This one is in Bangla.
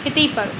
খেতেই পারো।